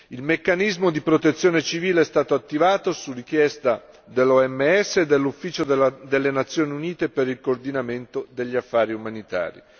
Il meccanismo di protezione civile è stato attivato su richiesta dell'OMS e dell'Ufficio delle Nazioni Unite per il coordinamento degli affari umanitari.